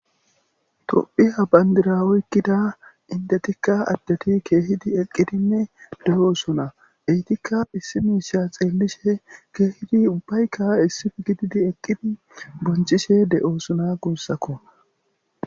Tophphiya bandira oykida indetika adeti keehidi eqqidi de'osona. Eetika issi miisha xeellishe keehidi ubbayka issipe gididi eqqidi bonchishe de'osona guusako.